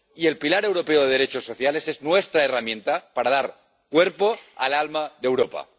Y el pilar europeo de derechos sociales es nuestra herramienta para dar cuerpo al alma de Europa.